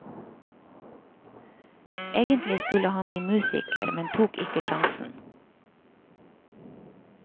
Egentlig skulle han bli musiker, men tok ikke sjansen.